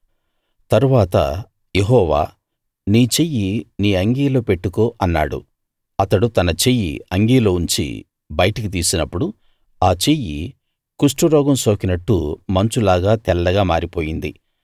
తరువాత యెహోవా నీ చెయ్యి నీ అంగీలో పెట్టుకో అన్నాడు అతడు తన చెయ్యి అంగీలో ఉంచి బయటికి తీసినప్పుడు ఆ చెయ్యి కుష్టురోగం సోకినట్టు మంచులాగా తెల్లగా మారిపోయింది